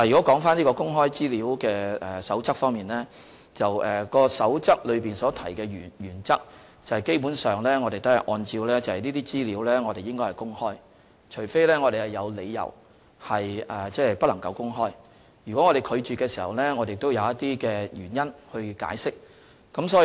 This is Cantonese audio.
基本上我們一直按照《守則》所訂的原則行事，即所有資料均應予以公開，除非我們有理由不能公開，如果我們拒絕發放資料，須提出原因加以解釋。